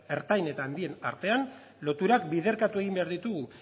eta ertain eta handien artean loturak biderkatu egin behar ditugu